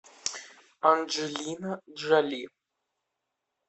анджелина джоли